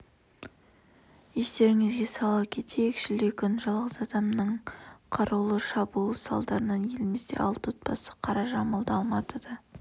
естеріңізге сала кетейік шілде күні жалғыз адамның қарулы шабуылы салдарынан елімізде алты отбасы қара жамылды алматыда